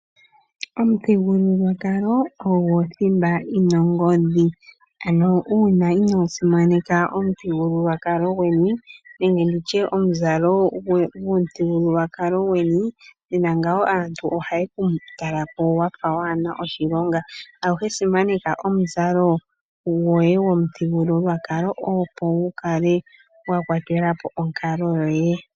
Omuthigululwakalo ogo thimba yi na ongodhi. Ano uuna inoo simaneka omuthigululwakalo gweni nenge omuzalo gwomuthigululwakalo gweni, nena ngawo aantu ohaye ku tala ko wa fa waa na oshilonga. Aluhe simaneka omuzalo gomuthigululwakalo gweni, opo wu kale wa kwatela po onkalo yoye.